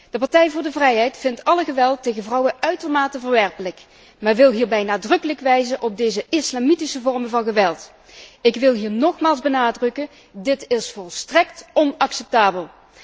De Partij voor de Vrijheid vindt alle geweld tegen vrouwen uitermate verwerpelijk, maar wil hierbij nadrukkelijk wijzen op deze islamitische vorm van geweld. Ik wil hier nogmaals benadrukken dit is volstrekt onacceptabel.